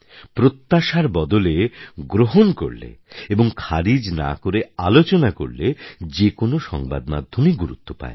প্রত্যাশার বদলে গ্রহণ করলে এবং খারিজ না করে আলোচনা করলে যে কোনও সংবাদমাধ্যমই গুরুত্ব পায়